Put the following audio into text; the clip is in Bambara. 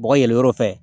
Bɔgɔ yɛlɛyɔrɔ fɛ